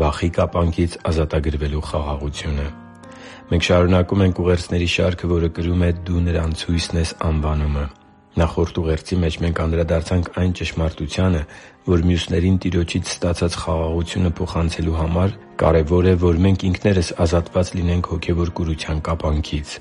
Վախի կապանքից ազատագրվելու խաղաղությունը Մենք շարունակում ենք ուղերձների շարքը, որը կրում է «Դու նրանց հույսն ես․․․»անվանումը։ Նախորդ ուղերձի մեջ մենք անդրադարձանք այն ճշմարտությանը, որ մյուսներին Տիրոջից ստացած խաղաղությունը փոխանցելու համար կարևոր է, որ մենք ինքներս ազատված լինենք հոգևոր կուրության կապանքից։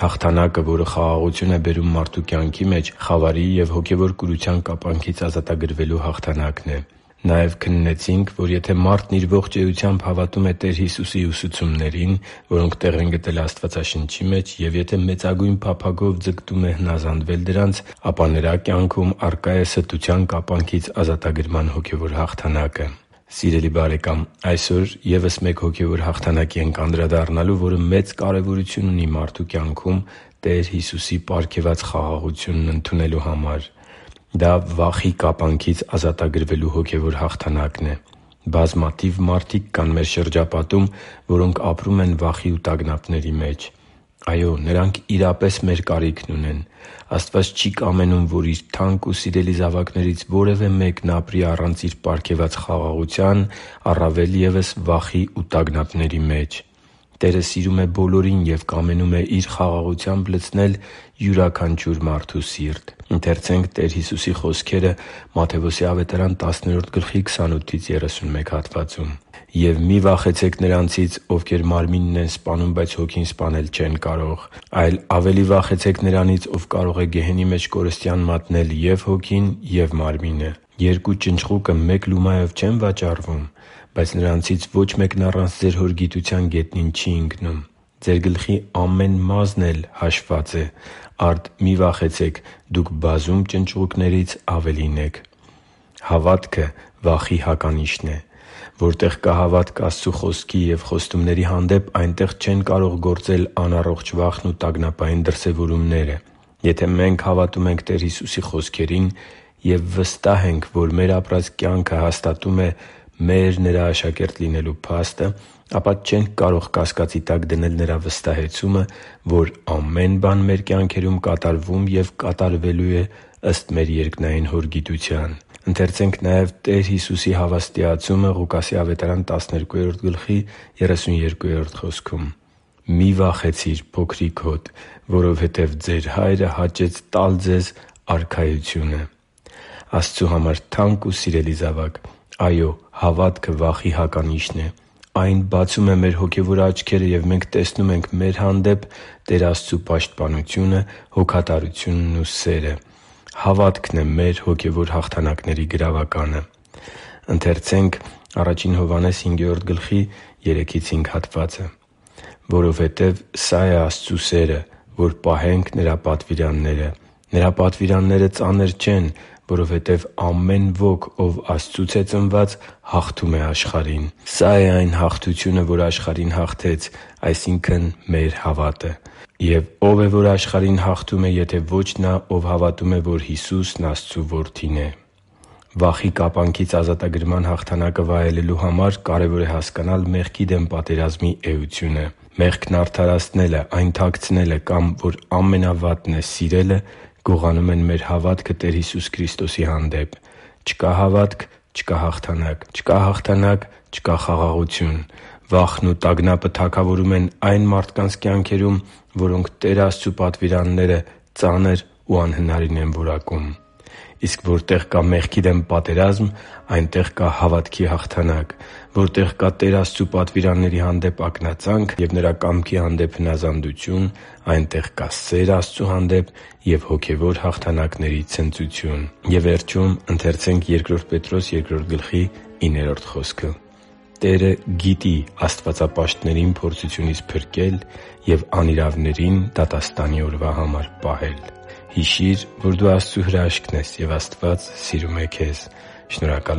Հաղթանակը, որը խաղաղություն է բերում մարդու կյանքի մեջ, խավարի և հոգևոր կուրության կապանքից ազատագրվելու հաղթանակն է։ Նաև քննեցինք, որ եթե մարդն իր ողջ էությամբ հավատում է Տեր Հիսուսի ուսուցումներին, որոնք տեղ են գտել Աստվածաշնչի մեջ, և եթե մեծագույն փափագով ձգտում է հնազանդվել դրանց, ապա նրա կյանքում առկա է ստության կապանքից ազատագրման հոգևոր հաղթանակը։ Սիրելի՛ բարեկամ, այսօր ևս մեկ հոգևոր հաղթանակի ենք անդրադառնալու, որը մեծ կարևորություն ունի մարդու կյանքում Տեր Հիսուսի պարգևած խաղաղությունն ընդունելու համար։ Դա վախի կապանքից ազատագրվելու հոգևոր հաղթանակն է։ Բազմաթիվ մարդիկ կան մեր շրջապատում, որոնք ապրում են վախի ու տագնապների մեջ։ Այո՛, նրանք իրապես մեր կարիքն ունեն։ Աստված չի՛ կամենում, որ Իր թանկ ու սիրելի զավակներից որևէ մեկն ապրի առանց Իր պարգևած խաղաղության, առավել ևս՝ վախի ու տագնապների մեջ։ Տերը սիրում է բոլորին և կամենում է Իր խաղաղությամբ լցնել յուրաքանչյուր մարդու սիրտ։ «Եվ մի՛ վախեցեք նրանցից, ովքեր մարմինն են սպանում, բայց հոգին սպանել չեն կարող։ Այլ ավելի վախեցե՛ք նրանից, ով կարող է գեհենի մեջ կորստյան մատնել և՛ հոգին, և՛ մարմինը։ Երկու ճնճղուկը մեկ լումայով չե՞ն վաճառվում, բայց նրանցից ոչ մեկն առանց ձեր Հոր գիտության գետնին չի ընկնում։ Ձեր գլխի ամեն մի մազն էլ հաշվված է։ Արդ, մի՛ վախեցեք. դուք բազում ճնճղուկներից ավելին եք» (Մատթեոս 10․28-31): Հավատքը վախի հականիշն է։ Որտեղ կա հավատք Աստծու Խոսքի և խոստումների հանդեպ, այնտեղ չեն կարող գործել անառողջ վախն ու տագնապային դրսևորումները։ Եթե մենք հավատում ենք Տեր Հիսուսի խոսքերին և վստահ ենք, որ մեր ապրած կյանքը հաստատում է մեր՝ Նրա աշակերտը լինելու փաստը, ապա չենք կարող կասկածի տակ դնել Նրա վստահեցումը, որ ամեն բան մեր կյանքերում կատարվում և կատարվելու է ըստ մեր երկնային Հոր գիտության։ «Մի՛ վախեցիր, փոքրի՛կ հոտ, որովհետև ձեր Հայրը հաճեց տալ ձեզ Արքայությունը» (Ղուկաս 12․32): Աստծու համար թանկ ու սիրելի՛ զավակ, այո՛, հավատքը վախի հականիշն է։ Այն բացում է մեր հոգևոր աչքերը, և մենք տեսնում ենք մեր հանդեպ Տեր Աստծու պաշտպանությունը, հոգատարությունն ու սերը։ Հավատքն է մեր հոգևոր հաղթանակների գրավականը։ «Որովհետև սա է Աստծու սերը. որ պահենք Նրա պատվիրանները։ Նրա պատվիրանները ծանր չեն, որովհետև ամեն ոք, ով Աստծուց է ծնված, հաղթում է աշխարհին։ Սա՛ է այն հաղթությունը, որ աշխարհին հաղթեց, այսինքն՝ մեր հավատը։ Եվ ո՞վ է, որ աշխարհին հաղթում է, եթե ոչ նա, ով հավատում է, որ Հիսուսն Աստծու Որդին է» (Ա Հովհաննես 5․3-5): Վախի կապանքից ազատագրման հաղթանակը վայելելու համար կարևոր է հասկանալ մեղքի դեմ պատերազմի էությունը։ Մեղքն արդարացնելը, այն թաքցնելը կամ, որ ամենավատն է՝ սիրելը, գողանում են մեր հավատքը Տեր Հիսուս Քրիստոսի հանդեպ։ Չկա հավա՞տք՝ չկա՛ հաղթանակ։ Չկա հաղթանա՞կ՝ չկա՛ խաղաղություն։ Վախն ու տագնապը թագավորում են այն մարդկանց կյանքում, որոնք Տեր Աստծու պատվիրանները ծանր ու անհնարին են որակում։ Իսկ որտեղ կա մեղքի դեմ պատերազմ, այնտեղ կա հավատքի հաղթանակ։ Որտեղ կա Տեր Աստծու պատվիրանների հանդեպ ակնածանք և Նրա կամքի հանդեպ հնազանդություն, այնտեղ կա սեր Աստծու հանդեպ և հոգևոր հաղթանակների ցնծություն։ «Տերը գիտի աստվածապաշտներին փորձությունից փրկել և անիրավներին դատաստանի օրվա համար պահել» (Բ Պետրոս 2․9): Հիշի՛ր, որ դու Աստծո հրաշքն ես, և Աստված սիրում է քեզ։ Շնորհակալ